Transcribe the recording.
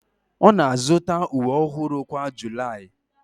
Ọ na-azụta uwe ọhụrụ kwa July